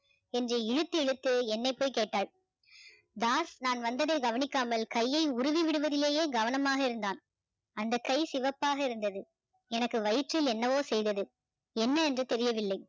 என்று இழுத்து இழுத்து என்னை போய் கேட்டாள் தாஸ் நான் வந்ததை கவனிக்காமல் கையை உருவி விடுவதிலேயே கவனமாக இருந்தான் அந்த கை சிவப்பாக இருந்தது எனக்கு வயிற்றில் என்னவோ செய்தது என்ன என்று தெரியவில்லை